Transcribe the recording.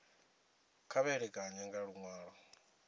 kha vha ṋekane nga luṅwalo